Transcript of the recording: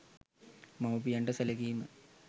මව්පියන්ට සැලකීම